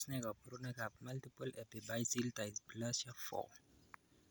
Tos nee koborunoikab Multiple epiphyseal dysplasia 4?